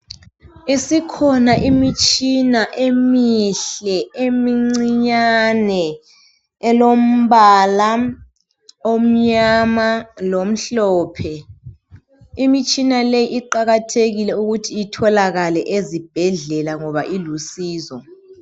Isikhona imitshina emihle eimincinyane elombala omnyama lomhlophe. Imitshina leyi iqakathekile ukuthi itholakale ezibhedlela ngoba ilusizo